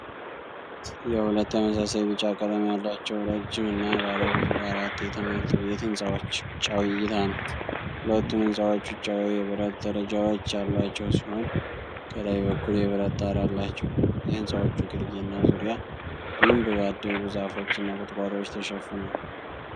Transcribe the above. የሁለት ተመሳሳይ ቢጫ ቀለም ያላቸው፣ ረጅም እና ባለ ብዙ አራት የትምህርት ቤት ህንፃዎች ውጫዊ እይታ ነው። ሁለቱም ህንጻዎች ውጫዊ የብረት ደረጃዎች ያሏቸው ሲሆን፣ ከላይ በኩል የብረት ጣራ አላቸው። የህንጻዎቹ ግርጌ እና ዙሪያ በደንብ ባደጉ ዛፎች እና ቁጥቋጦዎች ተሸፍኗል።